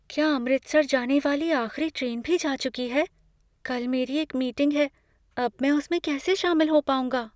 क्या अमृतसर जाने वाली आख़िरी ट्रेन भी जा चुकी है? कल मेरी एक मीटिंग है, अब मैं उसमें कैसे शामिल हो पाऊंगा?